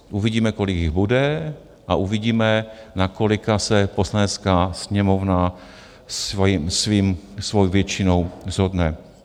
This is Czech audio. Uvidíme, kolik jich bude a uvidíme, na kolika se Poslanecká sněmovna svojí většinou shodne.